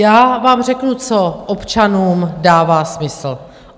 Já vám řeknu, co občanům dává smysl.